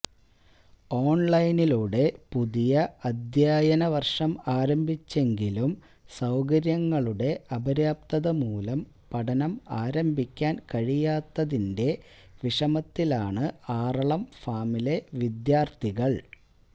ഓൺലൈനിലൂടെ പുതിയ അധ്യായന വർഷം ആരംഭിച്ചെങ്കിലും സൌകര്യങ്ങളുടെ അപര്യാപ്തത മൂലം പഠനം ആരംഭിക്കാൻ കഴിയാത്തതിന്റെ വിഷമത്തിലാണ് ആറളം ഫാമിലെ വിദ്യാർത്ഥികൾ